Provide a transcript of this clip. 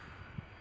İndi yoxdur.